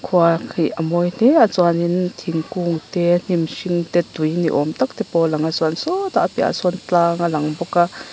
khua khi a mawi hle a chuanin thingkung te hnim hring te tui ni awm tak te pawh a lang a chuan sawtah a piahah sawn tlang a lang bawk a.